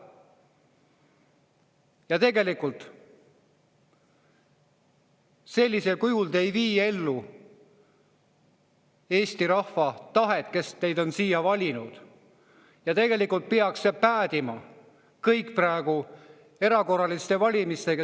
Ja sellisel juhul te ei vii ellu Eesti rahva tahet, kes teid on siia valinud, ja tegelikult peaks see päädima praegu erakorraliste valimistega.